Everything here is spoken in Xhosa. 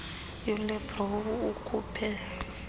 ulynne brown ukhuphe